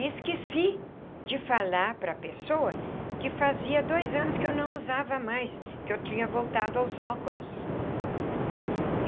E esqueci de falar para a pessoa que fazia dois anos que eu não usava mais, que eu tinha voltado aos óculos.